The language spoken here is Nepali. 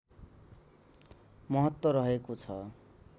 महत्त्व रहेको छ